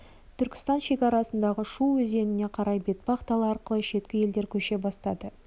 түркістан шекарасындағы шу өзеніне қарай бетпақ дала арқылы шеткі елдер көше бастады